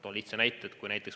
Toon lihtsa näite.